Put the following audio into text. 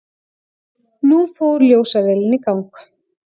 Nú fór ljósavélin í gang.